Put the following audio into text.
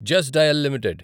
just Dial limited